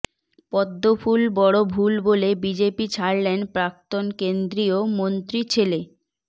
পদ্মফুল বড় ভুল বলে বিজেপি ছাড়লেন প্রাক্তন কেন্দ্রীয় মন্ত্রী ছেলে